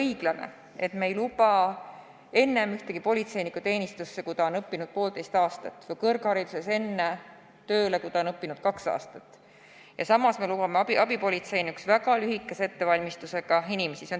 Ei ole õiglane, et me ei luba ühtegi politseinikku teenistusse enne, kui ta on õppinud poolteist aastat, või kõrghariduses tööle enne, kui ta on õppinud kaks aastat, ja samas me lubame abipolitseinikuna tegutseda väga lühikese ettevalmistusega inimestel.